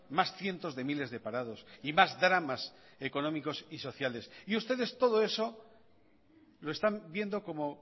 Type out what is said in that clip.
más cientos de miles de parados y más dramas económicos y sociales y ustedes todo eso lo están viendo como